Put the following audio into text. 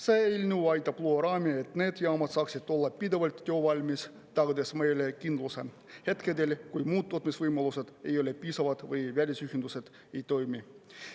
See eelnõu aitab luua raami, et need jaamad saaksid olla pidevalt töövalmis, tagades meile kindluse hetkedel, kui muud tootmisvõimalused ei ole piisavad või välisühendused ei toimi.